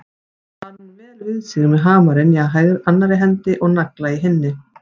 Hann kann vel við sig með hamarinn í annarri hendi og nagla í hinni.